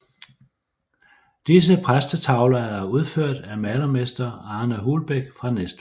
Disse præstetavler er udført af malermester Arne Hulbæk fra Næstved